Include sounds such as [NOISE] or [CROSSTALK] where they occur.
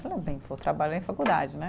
[UNINTELLIGIBLE] vou trabalhar em faculdade né.